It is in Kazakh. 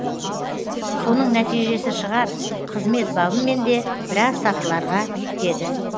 соның нәтижесі шығар қызмет бабымен де біраз сатыларға биіктеді